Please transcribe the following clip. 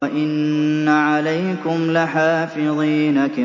وَإِنَّ عَلَيْكُمْ لَحَافِظِينَ